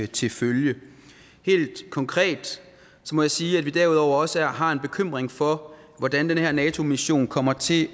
til følge helt konkret må jeg sige at vi derudover også har en bekymring for hvordan den her nato mission kommer til